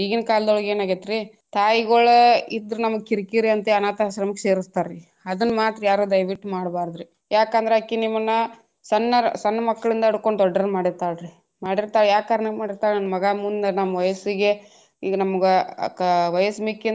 ಈಗಿನ ಕಾಲದೊಳಗ ಏನ್ ಆಗೇತ್ರಿ ತಾಯಿಗೋಳ ಇದ್ರ ನಮಗ ಕಿರಿಕಿರಿ ಅಂತೇಳಿ ಅನಾಥಶ್ರಮಕ್ಕ ಸೇರಿಸ್ತಾರ್ರೀ ಅದನ್ನ ಮಾತ್ರ ಯಾರು ದಯವಿಟ್ಟು ಮಾಡಬಾರ್ದ್ರಿ ಯಾಕಂದ್ರ ಅಕಿ ನಿಮ್ಮನ ಸಣ್ಣರ ಸಣ್ಣ ಮಕ್ಕಳಿಂದ ಹಿಡ್ಕೊಂಡ ದೊಡ್ಡೋರ ಮಾಡಿರ್ತಾರಿ ಮಾಡಿರ್ತಾಳ ಯಾ ಕಾರಣಕ್ಕ ಮಾಡಿರ್ತಾಳ ನನ್ನ ಮಗಾ ಮುಂದ ನಮ್ಮ ವಯಸ್ಸಿಗೆ ಈಗ ನಮಗ ವಯಸ್ಸ ಮಿಕ್ಕಿಂದ.